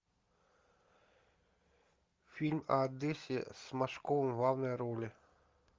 фильм о одессе с машковым в главной роли